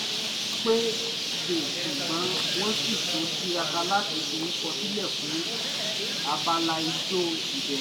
wọ́n pẹ́ dé ṣùgbọ́n wọ́n sì tún tiraka láti forúkọ sílẹ̀ fún abala ijó ìbẹ̀rẹ̀